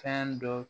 Fɛn dɔ